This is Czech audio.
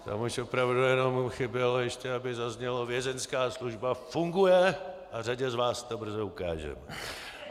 Tam už opravdu jenom chybělo ještě, aby zaznělo: Vězeňská služba funguje a řadě z vás to brzo ukážeme.